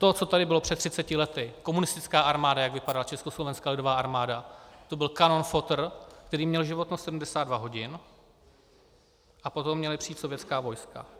To, co tady bylo před 30 lety, komunistická armáda, jak vypadala Československá lidová armáda, to byl kanonfotr, který měl životnost 72 hodin, a potom měla přijít sovětská vojska.